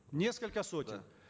несколько сотен да